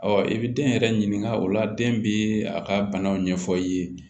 i bi den yɛrɛ ɲininka o la den bi a ka banaw ɲɛfɔ i ye